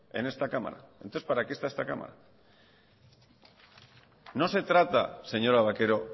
en esta cámara entonces para qué está esta cámara no se trata señora vaquero